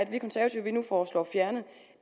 vi konservative nu foreslår fjernet